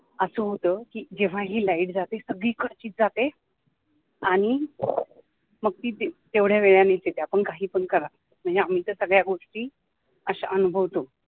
अस होत जेव्हाही light जाते, सगळीकडचीच जाते आणि मग ती तेवढ्या वेळाने येते मग आपण काही पण करा, म्हणजे आम्ही तर सगळ्या गोष्टी अशा अनुभवतो.